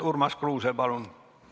Urmas Kruuse, palun!